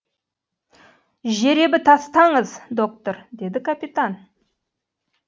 жеребі тастаңыз доктор деді капитан